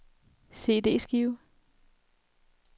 CD-skive